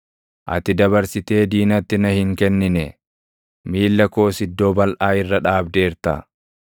Ati dabarsitee diinatti na hin kennine; miilla koos iddoo balʼaa irra dhaabdeerta.